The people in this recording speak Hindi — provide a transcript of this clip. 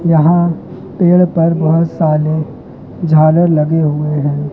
यहां पेड़ पर बहुत सारे झालर लगे हुए हैं।